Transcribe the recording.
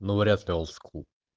ну вряд ли олд скул